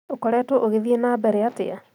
Ũkoretwo ũgĩthiĩ na mbere atĩa?